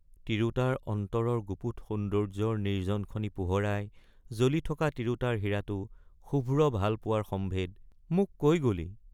তিৰুতাৰ অন্তৰৰগুপুত সৌন্দৰ্যৰ নিৰ্জন খনি পোহৰাই—জ্বলি থকা তিৰুতাৰ হীৰাতো শুভ্ৰ ভাল পোৱাৰ সম্ভেদ—মোক কৈ গলি।